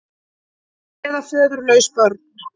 Eða föðurlaus börn.